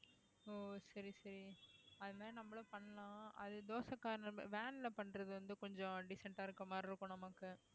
ஓ சரி சரி அது மாதிரி நம்மளும் பண்ணலாம் அது தோசை corner van ல பண்றது வந்து கொஞ்சம் decent ஆ இருக்க மாதிரி இருக்கும் நமக்கு